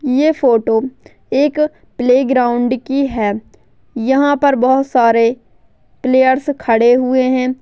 ये फोटो एक प्लेग्राउन्ड की है यहाँ पर बहुत सारे प्लयेर्स खड़े हुए है।